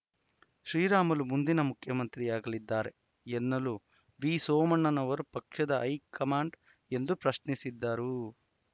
ಶ್ರೀರಾಮುಲು ಮುಂದಿನ ಮುಖ್ಯಮಂತ್ರಿಯಾಗಲಿದ್ದಾರೆ ಎನ್ನಲು ವಿ ಸೋಮಣ್ಣನವರು ಪಕ್ಷದ ಹೈಕಮಾಂಡ್ ಎಂದು ಪ್ರಶ್ನಿಸಿದರು